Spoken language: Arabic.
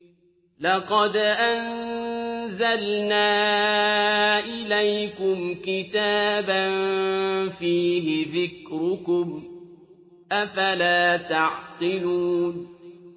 لَقَدْ أَنزَلْنَا إِلَيْكُمْ كِتَابًا فِيهِ ذِكْرُكُمْ ۖ أَفَلَا تَعْقِلُونَ